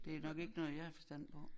Det nok ikke noget jeg har forstand på